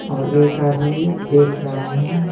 और एक आदमी देख रहा है।